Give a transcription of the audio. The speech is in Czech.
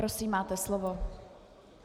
Prosím, máte slovo.